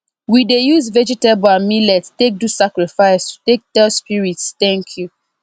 we dey use vegetable and millet take do sacrifice to take tell spirits thank you